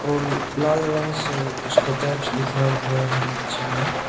और लाल रंग से उसका टाइप्स लिखा हुआ है नीचे में--